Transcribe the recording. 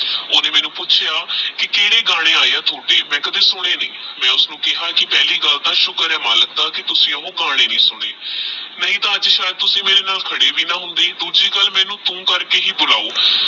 ਓਹਨੇ ਮੈਨੂ ਪੁਚ੍ਯਾ ਕੀ ਕਦੇ ਗਾਨੇ ਏ ਯਾ ਥੋੜੇ ਮੈ ਕਦੇ ਸੁਨ੍ਯ ਨਹੀ ਮੈ ਉਸਨੁ ਕੇਹਾ ਕੀ ਪਹਲਾ ਗੱਲ ਤਹ ਸੁਕਰ ਆਹ ਮਾਲਕ ਦਾ ਕੀ ਤੁਸੀਂ ਓਹ੍ਹ ਗਾਨੇ ਨਹੀ ਸੁਨੇ ਨਹੀ ਤਹ ਅਜੇ ਸਯਦ ਤੁਸੀਂ ਮੇਰੇ ਨਾਲ ਕਦੇ ਵੀ ਨਾ ਹੋਂਦੇ ਦੂਜੀ ਗੱਲ ਮੈਨੂ ਤੂ ਕਰਕੇ ਹੀ ਬੁਲਾਓ